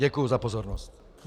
Děkuji za pozornost.